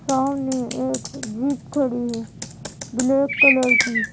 सामने एक जीप खड़ी है ब्लैक कलर की।